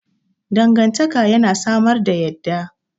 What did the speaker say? Dangantaka yana samar da yadda.